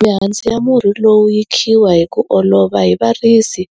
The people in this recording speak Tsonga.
Mihandzu ya murhi lowu yi khiwa hi ku olova hi varisi